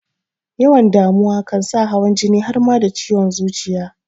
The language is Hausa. Yawan damuwa kan sa hawan jini har ma da ciwon zuciya